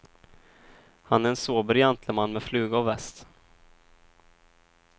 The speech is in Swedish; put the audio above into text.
Han är en sober gentleman med fluga och väst.